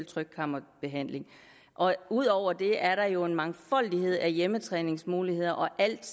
trykkammerbehandling ud over det er der jo en mangfoldighed af hjemmetræningsmuligheder og alt